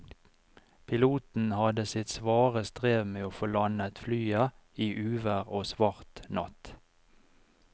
Piloten hadde sitt svare strev med å få landet flyet i uvær og svart natt.